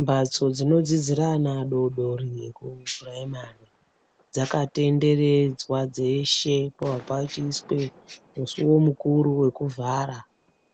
Mbatso dzinodzidzire ana adodori eku puraimari dzakatenderedzwa dzeshe pabva pachiiswe musuwo mukuru wekuvhara